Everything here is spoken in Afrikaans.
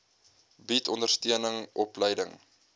bied ondersteuning opleiding